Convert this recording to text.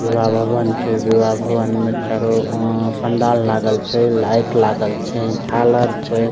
विवाह भवन छै विवाह भवन में चारो अ पंडाल लागल छै लाइट लागल छै झालर छै।